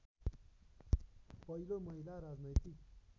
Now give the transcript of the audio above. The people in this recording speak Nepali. पहिलो महिला राजनैतिक